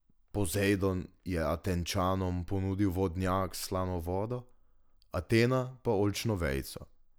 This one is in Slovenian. Pozejdon je Atenčanom ponudil vodnjak s slano vodo, Atena pa oljčno vejico.